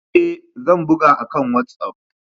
Eh, zan buga akan WhatsApp.